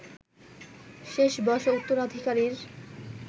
শেষ বয়সে উত্তরাধিকারীর